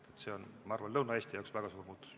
Nii et see on, ma arvan, Lõuna-Eesti jaoks väga suur muutus.